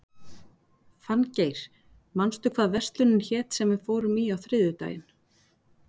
Fanngeir, manstu hvað verslunin hét sem við fórum í á þriðjudaginn?